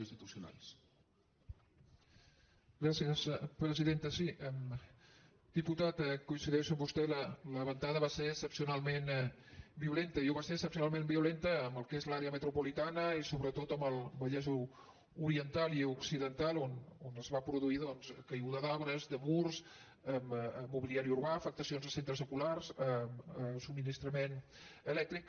sí diputat coincideixo amb vos·tè la ventada va ser excepcionalment violenta i ho va ser excepcionalment violenta en el que és l’àrea me·tropolitana i sobretot en el vallès oriental i occiden·tal on es va produir doncs caiguda d’arbres de murs mobiliari urbà afectacions a centres escolars a sub·ministrament elèctric